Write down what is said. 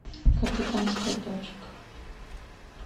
капитанская дочка